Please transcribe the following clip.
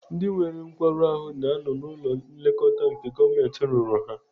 Ndị nwere nkwarụ ahụ na-anọ n'ụlọ nlekọta nke gọọmentị rụrụ ha.